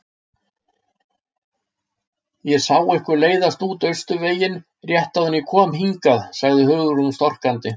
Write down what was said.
Ég sá ykkur leiðast út Austurveginn rétt áður en ég kom hingað- sagði Hugrún storkandi.